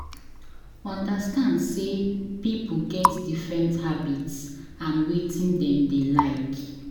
Understand sey pipo get different habits and wetin dem dey like